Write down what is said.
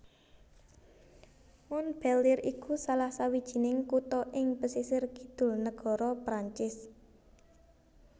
Montpellier iku salah sawijining kutha ing pesisir kidul nagara Perancis